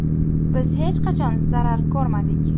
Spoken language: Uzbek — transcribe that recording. Biz hech qachon zarar ko‘rmadik.